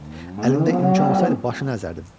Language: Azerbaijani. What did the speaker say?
Əlimdə imkan olsaydı başını əzərdim.